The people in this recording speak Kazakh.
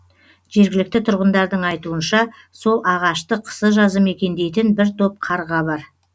жергілікті тұрғындардың айтуынша сол ағашты қысы жазы мекендейтін бір топ қарға бар